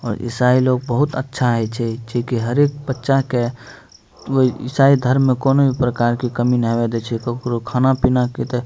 और इसाई लोग बहुत अच्छा हेय छै जे कि हरेक बच्चा के ईसाई धर्म में कोनो भी प्रकार के कमी ने आवे दे छै ककरो खाना-पीना के ते --